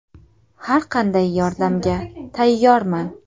Har qanday yordamga tayyorman.